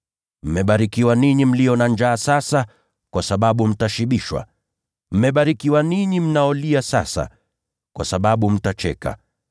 Mmebarikiwa ninyi mlio na njaa sasa, kwa sababu mtashibishwa. Mmebarikiwa ninyi mnaolia sasa, kwa sababu mtacheka.